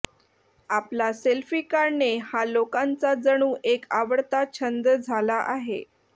आपला सेल्फी काढणे हा लोकांचा जणू एक आवडता छंद झाला आहे